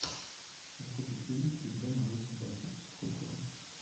закажи педигри для моей собаки сухой корм